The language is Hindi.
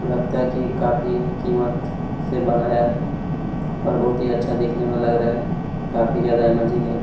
लगता है की काफी कीमत से बनाया है। और बहुत ही अच्छा दिखने मे लग रहा है काफी जादा इमेजिंग है।